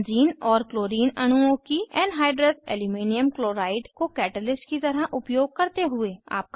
benzene और chlorine अणुओं की एनहाइड्र्स एल्युमिनियम क्लोराइड को कैटलिस्ट की तरह उपयोग करते हुए